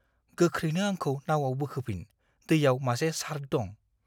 गोख्रैनो आंखौ नावआव बोखोफिन, दैयाव मासे शार्क दं।